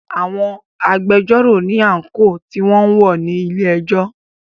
Àwọn agbẹjọ́rò ní àńkò tí wọn ń wọ̀ ní ilé ẹjọ́.